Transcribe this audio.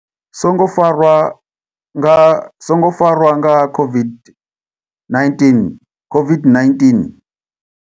Songo farwa nga songo farwa nga COVID-19, COVID-19.